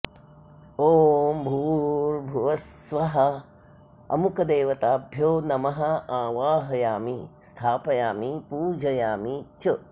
ॐ भूर्भुव स्वः अमुकदेवताभ्यो नमः आवाहयामि स्थापयामि पूजयामि च